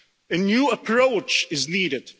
A new approach is needed.